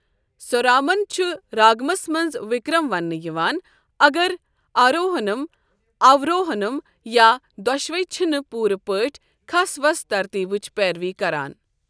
سوارمَن چھُ راگمَس منٛز وکرم وننہٕ یِوان اگر آروہنم، آوروہنم، یا دۄشوے چھِنہٕ پوٗرٕ پٲٹھۍ کھس وَس ترتیبٕچ پیروی کران۔